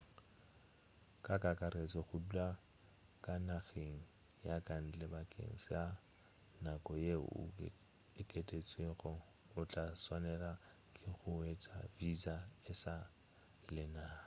ka kakaretšo go dula ka nageng ya kantle bakeng sa nako yeo e okedtšwego o tla swanela ke go hwetša visa e sa le nako